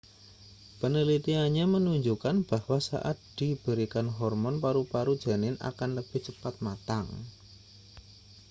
penelitiannya menunjukkan bahwa saat diberikan hormon paru-paru janin akan lebih cepat matang